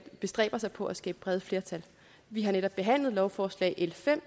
bestræber sig på at skabe brede flertal vi har netop behandlet lovforslag l fem